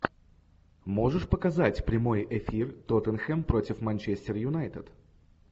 можешь показать прямой эфир тоттенхэм против манчестер юнайтед